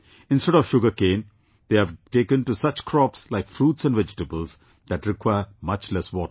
Instead of sugarcane, they have taken to such crops like fruits and vegetables that require much less water